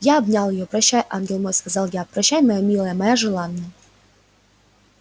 я обнял её прощай ангел мой сказал я прощай моя милая моя желанная